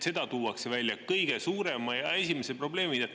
Seda tuuakse välja esimese ja kõige suurema probleemina.